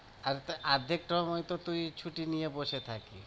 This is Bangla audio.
আর অর্ধেক সময় তো তুই ছুটি নিয়ে বসে থাকিস।